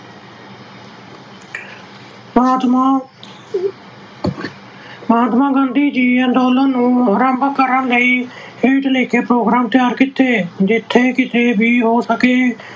ਮਹਾਤਮਾ ਅਹ ਮਹਾਤਮਾ ਗਾਂਧੀ ਜੀ ਨੇ ਅੰਦੋਲਨ ਨੂੰ ਆਰੰਭ ਕਰਨ ਲਈ ਹੇਠ ਲਿਖੇ program ਤਿਆਰ ਕੀਤੇ, ਜਿੱਥੇ ਕਿਤੇ ਵੀ ਹੋ ਸਕੇ